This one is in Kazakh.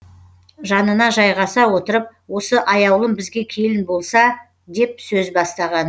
жанына жайғаса отырып осы аяулым бізге келін болса деп сөз бастаған